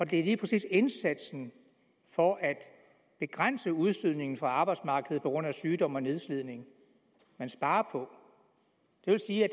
det er lige præcis indsatsen for at begrænse udstødningen fra arbejdsmarkedet på grund af sygdom og nedslidning man sparer på det vil sige at